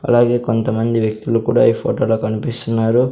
అలాగే కొంతమంది వ్యక్తులు కూడా ఈ ఫోటోలో కనిపిస్తున్నారు.